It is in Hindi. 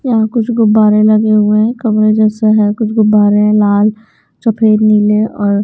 यहां कुछ गुब्बारे लगे हुए हैं कमरे जैसा है कुछ गुब्बारे हैं लाल सफेद नीले और--